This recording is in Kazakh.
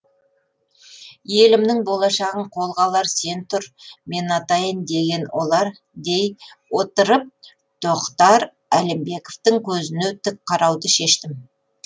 елімнің болашағын қолға алар сен тұр мен атайын деген олар дей отырып тохтар алимбековтың көзіне тік қарауды шештім